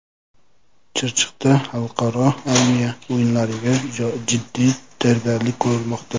Chirchiqda xalqaro armiya o‘yinlariga jiddiy tayyorgarlik ko‘rilmoqda .